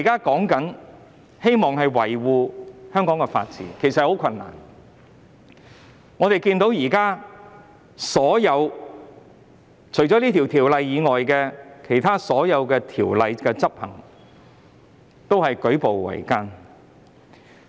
要維護香港的法治，其實舉步維艱。除《條例》外，其他法例的執行亦舉步維艱。